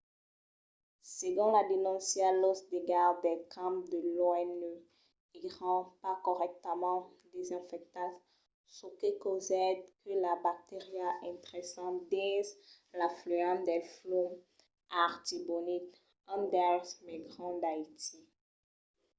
segon la denóncia los degalhs del camp de l’onu èran pas corrèctament desinfectats çò que causèt que las bacterias intrèssen dins l'afluent del flum artibonite un dels mai grands d’haití